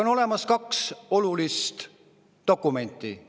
On olemas kaks olulist dokumenti.